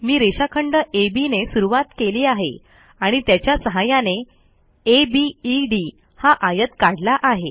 मी रेषाखंड अब ने सुरूवात केली आहे आणि त्याच्या सहाय्याने अबेद हा आयत काढला आहे